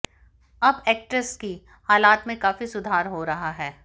अब एक्ट्रेस की हालात में काफी सुधार हो रहा है